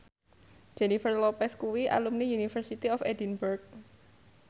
Jennifer Lopez kuwi alumni University of Edinburgh